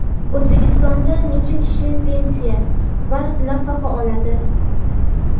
O‘zbekistonda necha kishi pensiya va nafaqa oladi?.